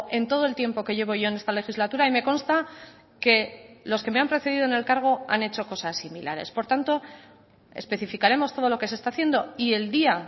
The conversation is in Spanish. en todo el tiempo que llevo yo en esta legislatura y me consta que los que me han precedido en el cargo han hecho cosas similares por tanto especificaremos todo lo que se está haciendo y el día